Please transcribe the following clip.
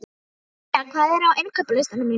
Diljar, hvað er á innkaupalistanum mínum?